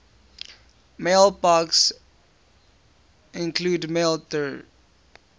mailboxes include maildir